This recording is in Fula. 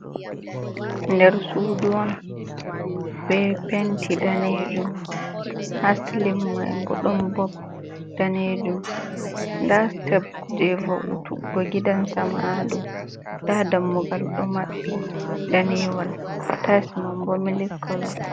Nder suudu on ,be penti daneejum ha silim may bo ɗon bob daneejum .Nda siteb jey va'utuggo gidan sama, ha dow nda dammugal ,ɗo maɓɓi daneewal tayis man bo mili kalo.